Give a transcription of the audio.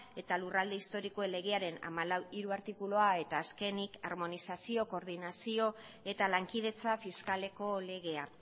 eta lurralde historikoen legearen hamalau puntu hiru artikulua eta azkenik harmonizazio koordinazio eta lankidetza fiskaleko legea